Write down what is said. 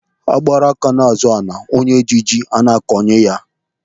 Agbara aka ná-azọ ala onye ji a na-akọnye ya.